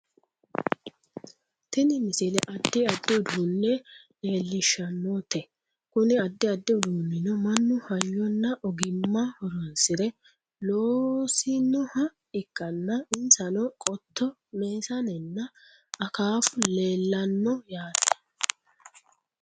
tini misile addi addi uduunne leellishshannote kuni addi addi uduunnino mannu hayyonn aogimma horonsire loosinoha ikkanna insano qotto meesanenna akaafu leellanno yaate